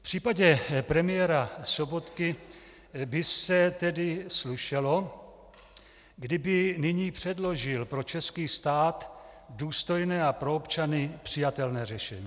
V případě premiéra Sobotky by se tedy slušelo, kdyby nyní předložil pro český stát důstojné a pro občany přijatelné řešení.